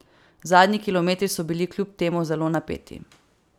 Zadnji kilometri so bili kljub temu zelo napeti.